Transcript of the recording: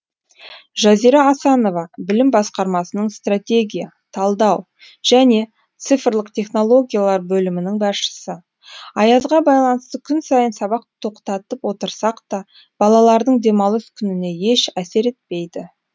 жазира асанова білім басқармасының стратегия талдау және цифрлық технологиялар бөлімінің басшысы аязға байланысты күн сайын сабақ тоқтатып отырсақ та балалардың демалыс күніне еш әсер етпейді